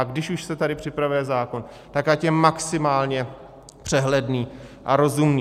A když už se tady připravuje zákon, tak ať je maximálně přehledný a rozumný.